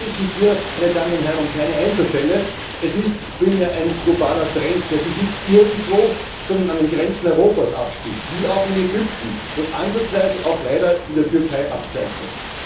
Es handelt sich hier um keine Einzelfälle, es ist vielmehr ein globaler Trend, der sich nicht irgendwo, sondern an den Grenzen Europas abspielt, wie auch in Ägypten, und ansatzweise auch leider in der Türkei abzeichnet.